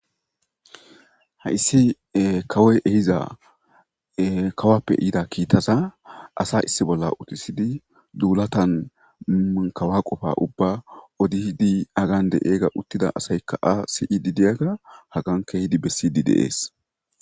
Haysi kawoy ehida kawappe yida kittaza asa issi bolla uuttisidi duullattan kawa qopa uubban haggan de'idi uuttida asaykka ka'a siyidi diyaga haggan keehidii bessidii de'es